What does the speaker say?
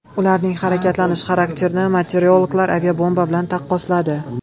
Ularning harakatlanish xarakterini meteorologlar aviabomba bilan taqqosladi.